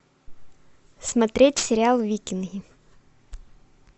смотреть сериал викинги